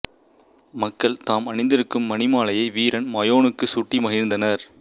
மக்கள் தாம் அணிந்திருக்கும் மணிமாலையை வீரன் மாயோனுக்குச் சூட்டி மகிழ்ந்தனர்